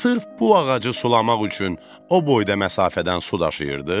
Sırf bu ağacı sulamaq üçün o boyda məsafədən su daşıyırdınız?